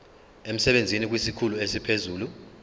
emsebenzini kwesikhulu esiphezulu